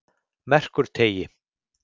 Merkurteigi